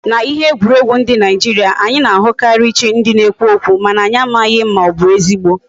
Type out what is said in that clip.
Na ihe egwuregwu ndi Nigeria, anyi na ahukari chi ndi na ekwu okwu, mana anyi amaghi ma obu ezigbo